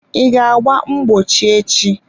I ga agba mgbochi echi?